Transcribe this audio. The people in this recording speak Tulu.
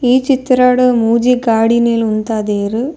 ಈ ಚಿತ್ರಡ್ ಮೂಜಿ ಗಾಡಿಲೆನ್ ಉಂತದೆರ್.